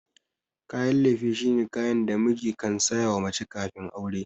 Kayan lefe shine kayan da miji kan sayawa mace kafin aure.